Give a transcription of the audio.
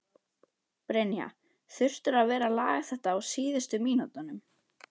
Brynja: Þurftirðu að vera að laga þetta á síðustu mínútunum?